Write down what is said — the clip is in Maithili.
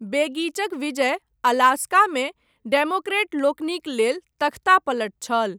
बेगिचक विजय, अलास्कामे, डेमोक्रेटलोकनिक लेल, तख्तापलट छल।